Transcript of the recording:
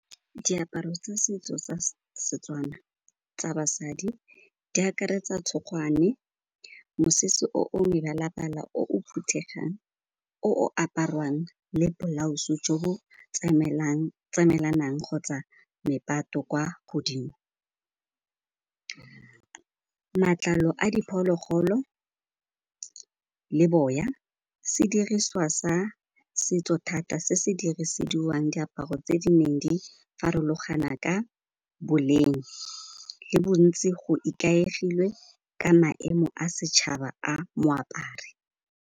Diaparo tsa setso tsa Setswana tsa basadi di akaretsa tshokgwane, mosese o o mebala-bala, o o phuthegang, o o aparwang le blouse jo bo tsamaelanang kgotsa mepato kwa godimo. Matlalo a diphologolo le boya se diriswa sa setso thata se se diresediwang diaparo tse di neng di farologana ka boleng le bontsi go ikaegilwe ka maemo a setšhaba a moapari.